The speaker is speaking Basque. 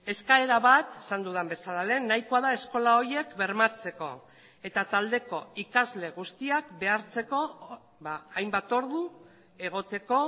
eskaera bat esan dudan bezala lehen nahikoa da eskola horiek bermatzeko eta taldeko ikasle guztiak behartzeko hainbat ordu egoteko